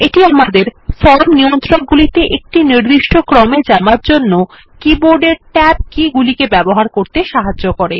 এটি আমাদের ফর্ম নিয়ন্ত্রক গুলিতে একটি নির্দিষ্ট ক্রমে যাবার জন্য কিবোর্ডের ট্যাব কি গুলিকে ব্যবহার করতে সাহায্য করে